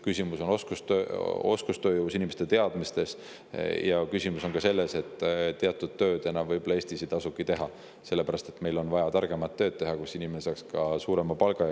Küsimus on oskustööjõus, inimeste teadmistes, ja küsimus on ka selles, et teatud tööd võib-olla enam Eestis ei tasugi teha, sest meil on vaja teha targemat tööd, mille eest inimene saaks ka suuremat palka.